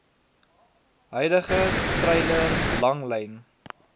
huidige treiler langlyn